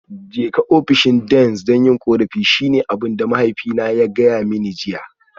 Jeka ofishin Deans don yin korafi shine abin da mahaifina ya gaya mani jiya